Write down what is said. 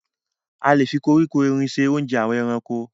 A lè fi koríko erin ṣe oúnjẹ àwọn ẹranko.